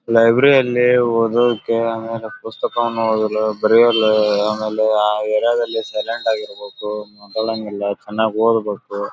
library ಅಲ್ಲಿ ಓದೋಕೆ ಆಮೇಲೆ ಪುಸ್ತಕವನ್ನ ಓದಲು ಬರೆಯಲು ಆಮೇಲೆ ಆ ಏರಿಯಾದಲ್ಲಿ ಸೈಲೆಂಟ್ ಆಗಿ ಇರ್ಬೇಕು ಮಾತಾಡಂಗಿಲ್ಲ ಚನ್ನಾಗ ಓದಬೇಕು --